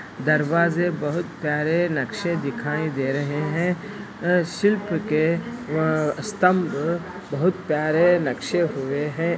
दरवाज़े बहुत प्यारे नक़्शे दिखाई दे रहे है शिल्प के ये स्तम्भ बहुत प्यारे नक़्शे हुए है।